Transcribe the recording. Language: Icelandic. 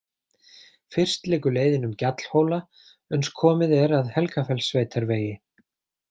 Fyrst liggur leiðin um gjallhóla uns komið er að Helgafellssveitarvegi.